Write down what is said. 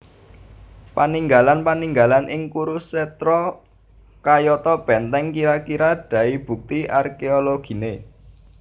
Paninggalan paninggalan ing Kurusetra kayata bèntèng kira kira dai bukti arkeologine